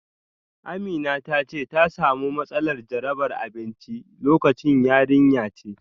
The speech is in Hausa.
Amina ta ce ta samu matsalar jarabar abinci lokacin. yarinya ce